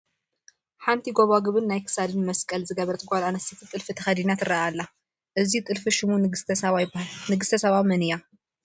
ሓንቲ ጐባጉብን ናይ ክሳድ መስቀልን ዝገበረት ጓል ኣነስተይቲ ጥልፊ ተኸዲና ትርአ ኣላ፡፡ እዚ ጥልፊ ሽሙ ንግስተ ሳባ ይበሃል፡፡ ንግስተ ሳባ መን እያ?